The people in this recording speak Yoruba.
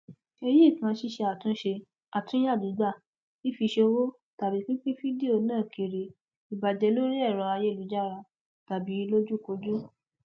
èyí kan ṣíṣe àtúnṣe àtúnya gbígba fífi ṣòwò tàbí pínpín fídíò náà kiri ibàá jẹ lórí ẹrọ ayélujára tàbí lójúkojú